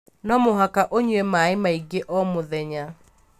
No mũhaka ũnyue maĩ maingĩ o mũthenya.